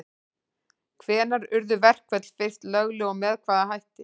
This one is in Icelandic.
Hvenær urðu verkföll fyrst lögleg og með hvaða hætti?